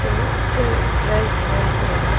to sig price haigai ye taiga.